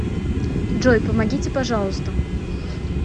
джой помогите пожалуйста